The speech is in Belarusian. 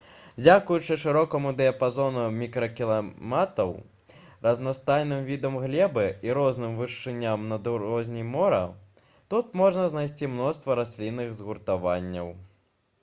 дзякуючы шырокаму дыяпазону мікракліматаў разнастайным відам глебы і розным вышыням над узроўнем мора тут можна знайсці мноства раслінных згуртаванняў